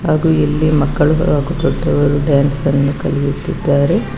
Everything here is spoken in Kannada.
ಹಾಗು ಇಲ್ಲಿ ಮಕ್ಕಳು ಹಾಗು ದೊಡ್ಡವರು ಡ್ಯಾನ್ಸ್ ಅನ್ನು ಕಲಿಯುತ್ತಿದ್ದಾರೆ.